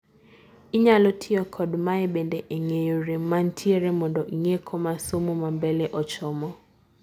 inyalo tiyo kod mae bende e ng'eyo rem mantiere mondo inge koma somo mambele ochomo